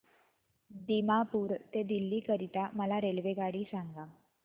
दिमापूर ते दिल्ली करीता मला रेल्वेगाडी सांगा